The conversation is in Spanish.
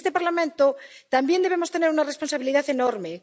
Y en este Parlamento también debemos tener una responsabilidad enorme.